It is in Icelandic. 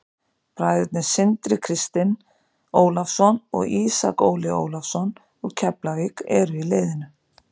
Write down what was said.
Bræðurnir Sindri Kristinn Ólafsson og Ísak Óli Ólafsson úr Keflavík eru í liðinu.